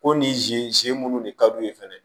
Ko nin ze ze munnu de kad'u ye fɛnɛ